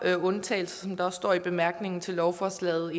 undtagelser som der også står i bemærkningerne til lovforslaget og